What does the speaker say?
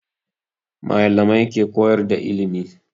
Malamai ke koyar da ilimi